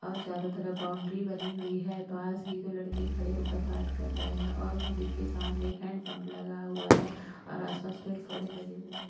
और चारों तरफ बाउंड्री बनी हुई है पास ही दो लड़के खड़े होकर बात कर रहे हैं और मस्जिद के सामने एक हैंड-पंप लगा हुआ है और आस-पास फिर पेड़-पौधे लगे हुए हैं।